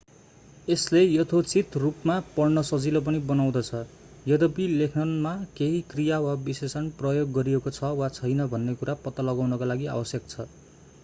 यसले यथोचित रूपमा पढ्न सजिलो पनि बनाउँदछ यद्यपि लेखनमा केही क्रिया वा विशेषण प्रयोग गरिएको छ वा छैन भन्ने कुरा पत्ता लगाउनका लागि आवश्यक छ